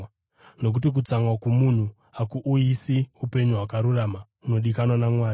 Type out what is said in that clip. nokuti kutsamwa kwomunhu hakuuyisi upenyu hwakarurama hunodikanwa naMwari.